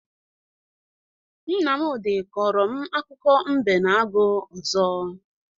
Nmamdị kọrọ m akụkọ mbe na agụ ọzọ.